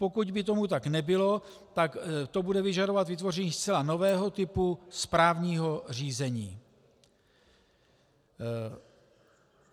Pokud by tomu tak nebylo, tak to bude vyžadovat vytvoření zcela nového typu správního řízení.